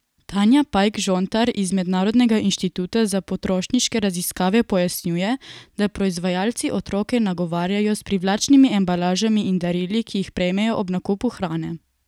Tanja Pajk Žontar iz Mednarodnega inštituta za potrošniške raziskave pojasnjuje, da proizvajalci otroke nagovarjajo s privlačnimi embalažami in darili, ki jih prejmejo ob nakupu hrane.